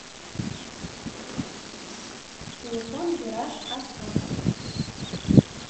телефон вираж авто